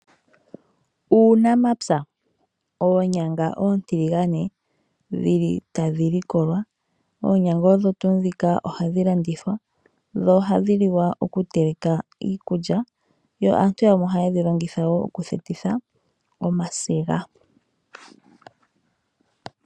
Oonyanga oontiligane dhili tadhi likolwa, oonyanga odho tuu ndhika ohadhi landithwa dho ohadhi liwa okuteleka iikulya yo aantu yamwe ohaye dhi longitha woo okuthukitha omasiga.